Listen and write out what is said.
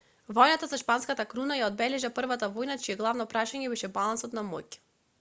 војната за шпанската круна ја одбележа првата војна чие главно прашање беше балансот на моќ